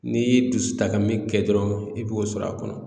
N'i ye dusutaka min kɛ dɔrɔn i b'o sɔrɔ a kɔnɔ